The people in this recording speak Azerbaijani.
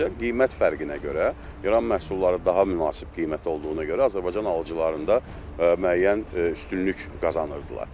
Sadəcə qiymət fərqinə görə İran məhsulları daha münasib qiymət olduğuna görə Azərbaycan alıcılarında müəyyən üstünlük qazanırdılar.